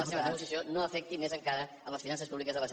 la seva negociació no afecti més encara les finances públiques de la generalitat